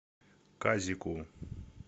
казику